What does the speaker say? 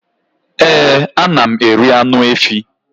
Ee ana m eri anụ efỊ